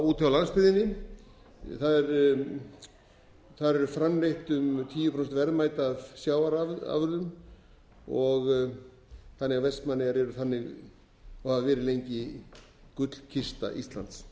úti á landsbyggðinni þar eru framleidd um tíu prósent verðmæta í sjávarafurðum þannig að vestmannaeyjar eru þannig og hafa verið lengi gullkista íslands